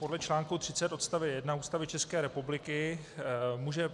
Podle článku 30 odst. 1 Ústavy České republiky může